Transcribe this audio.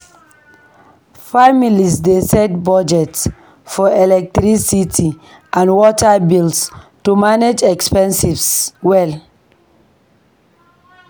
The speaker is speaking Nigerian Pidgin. Families dey set budgets for electricity and water bills to manage expenses well.